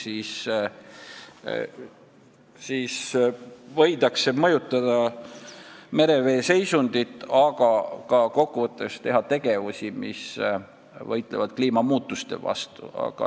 Sellega võidakse mõjutada merevee seisundit, aga kokkuvõttes teha ka tegevusi, mis võitlevad kliimamuutuste vastu.